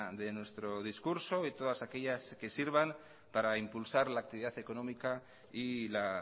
de nuestro discurso y todas aquellas que sirvan para impulsar la actividad económica y la